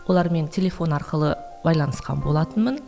олармен телефон арқылы байланысқан болатынмын